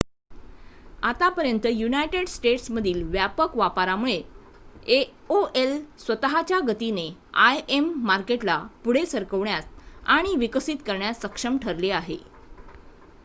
आतापर्यंत युनायटेड स्टेट्समधील व्यापक वापरामुळे aol स्वत:च्या गतीने im मार्केटला पुढे सरकवण्यात आणि विकसित करण्यात सक्षम ठरले आहे